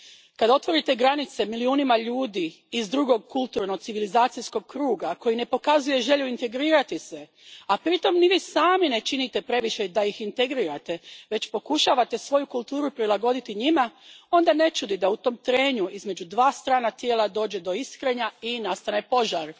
Kada otvorite granice milijunima ljudi iz drugog kulturno civilizacijskog kruga koji ne pokazuju želju integrirati se, a pritom ni vi sami ne činite previše da ih integrirate već pokušavate svoju kulturu prilagoditi njima, onda ne čudi da u tom trenju između dva strana tijela dođe do iskrenja i nastane požar.